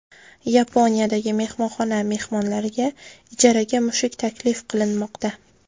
Yaponiyadagi mehmonxona mehmonlariga ijaraga mushuk taklif qilinmoqda.